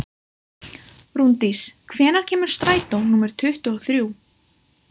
Rúndís, hvenær kemur strætó númer tuttugu og þrjú?